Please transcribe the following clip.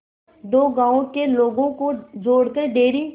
दो गांवों के लोगों को जोड़कर डेयरी